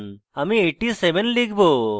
আমি 87 লিখব